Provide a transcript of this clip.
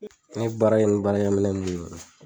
Ne baara kɛ ni baarakɛ minɛn min ye